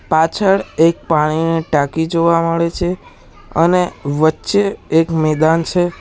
પાછળ એક પાણીની ટાંકી જોવા મળે છે અને વચ્ચે એક મેદાન છે.